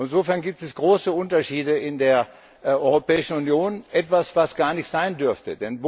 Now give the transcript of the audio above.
Insofern gibt es große Unterschiede in der Europäischen Union etwas, was gar nicht sein dürfte!